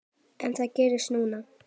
En það gerðist núna.